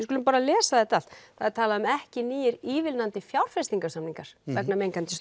skulum bara lesa þetta allt það er talað um ekki ívilnandi fjárfestingarsamningar vegna mengandi